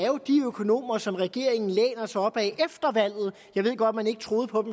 jo er de økonomer som regeringen læner sig op ad jeg ved godt man ikke troede på